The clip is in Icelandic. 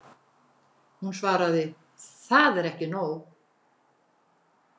Hún svaraði: Það er ekki nóg.